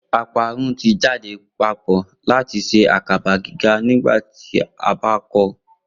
Oparun ti jade papọ lati ṣe akaba giga nigbati o ba kọ